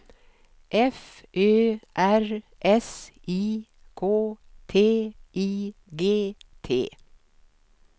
F Ö R S I K T I G T